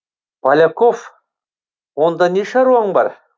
поляков онда не шаруаң бар